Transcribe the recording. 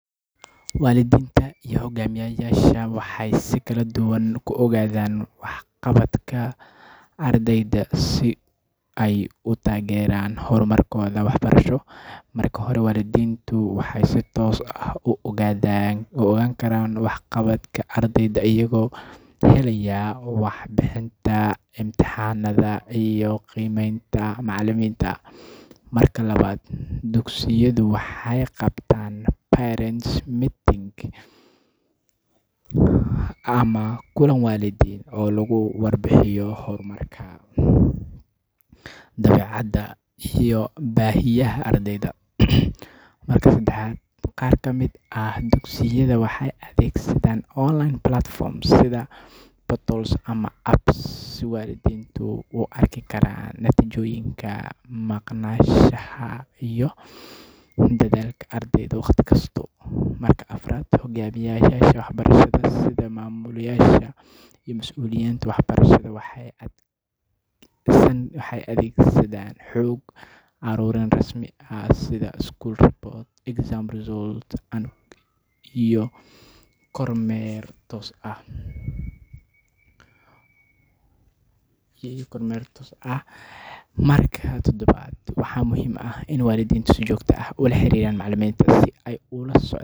Waalidiinta iyo hoggaamiyeyaasha dugsigu waxay si kala duwan ula socdaan waxqabadka ardayda, si ay u taageeraan horumarkooda waxbarasho. Marka hore, waalidiintu waxay si toos ah u heli karaan warbixinta waxqabadka ardayga iyagoo ka akhrisanaya natiijooyinka imtixaannada iyo qiimeynta ay bixiyaan macallimiinta. Marka labaad, dugsiyada waxay qabanqaabiyaan kulammo waalidiin Parent Meetings, kuwaas oo lagu falanqeeyo horumarka, dabeecadda, iyo baahiyaha ardayda. Marka saddexaad, dugsiyada casriga ah waxay adeegsadaan barnaamijyo online ah sida apps ama portals, si waalidiintu u arki karaan natiijooyinka imtixaannada, maqnaanshaha ardayga, iyo dadaalkiisa waxbarasho wakhti kasta. Marka afraad, hoggaamiyeyaasha dugsiga sida maamulayaasha waxay isticmaalaan xog ururin rasmi ah oo ay ku jiraan warbixinnada dugsiga, natiijooyinka imtixaanka, iyo kormeer toos ah si ay ula socdaan tayada waxbarashada. Marka shanaad, waa muhiim in waalidiintu si toos ah ula xiriiraan macallimiinta si ay u helaan xog dheeraad ah oo ku saabsan horumarka ilmahooda, ugana wada shaqeeyaan sidii kor loogu qaadi lahaa waxbarashadiisa.